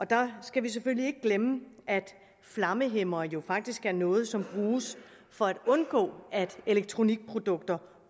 der skal vi selvfølgelig ikke glemme at flammehæmmere jo faktisk er noget som bruges for at undgå at elektronikprodukter